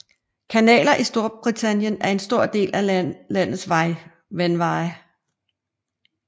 Kanaler i Storbritannien er en stor del af landets vandveje